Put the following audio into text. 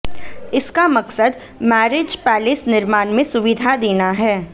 इसका मकसद marriage palace निर्माण में सुविधा देना है